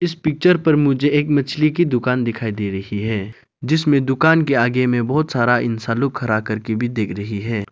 Picture पर मुझे एक मछली की दुकान दिखाई दे रही है जिसमें दुकान के आगे में बहोत सारा इंसान लोग खड़ा करके भी देख रही है।